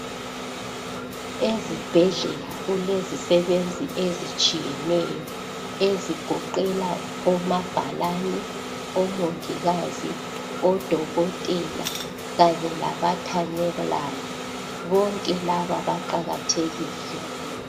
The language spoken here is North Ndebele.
Ezibhedlela kulezisebenzi ezitshiyeneyo ezigoqela omabhalane, omongikazi, odokotela Kanye labathanyelayo. Bonke laba baqakathekile.